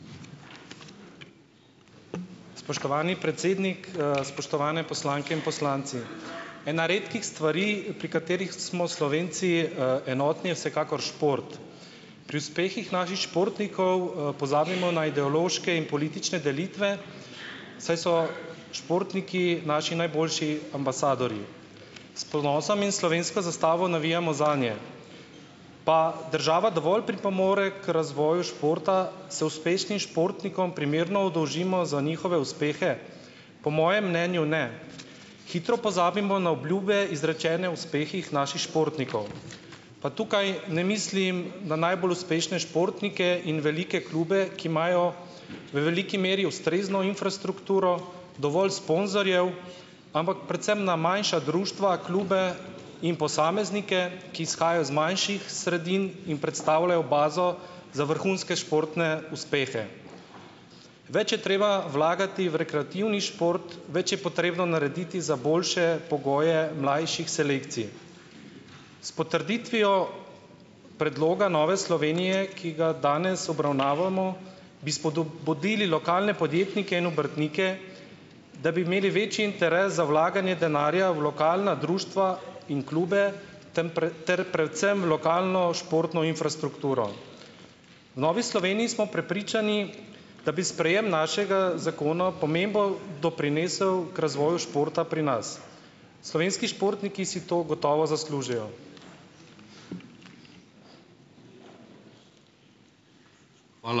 Spoštovani predsednik, spoštovane poslanke in poslanci . Ena redkih stvari, pri katerih smo Slovenci, enotni, je vsekakor šport. Pri uspehih naših športnikov, pozabimo na ideološke in politične delitve, saj so športniki naši najboljši ambasadorji. S ponosom in slovensko zastavo navijamo zanje. Pa država dovolj pripomore k razvoju športa? Se uspešnim športnikom primerno oddolžimo za njihove uspehe? Po mojem mnenju ne. Hitro pozabimo na obljube, izrečene uspehih naših športnikov. Pa tukaj ne mislim na najbolj uspešne športnike in velike klube, ki imajo v veliki meri ustrezno infrastrukturo, dovolj sponzorjev, ampak predvsem na manjša društva, klube in posameznike, ki izhajajo iz manjših sredin in predstavljajo bazo za vrhunske športne uspehe. Več je treba vlagati v rekreativni šport, več je potrebno narediti za boljše pogoje mlajših selekcij. S potrditvijo predloga Nove Slovenije , ki ga danes obravnavamo, bi spodbudili lokalne podjetnike in obrtnike, da bi imeli večji interes za vlaganje denarja v lokalna društva in klube, tam ter predvsem v lokalno športno infrastrukturo. Novi Sloveniji smo prepričani, da bi sprejem našega zakona pomembo doprinesel k razvoju športa pri nas. Slovenski športniki si to gotovo zaslužijo.